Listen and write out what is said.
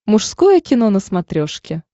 мужское кино на смотрешке